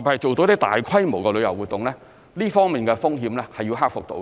別是做到大規模的旅遊活動，這方面的風險是要克服的。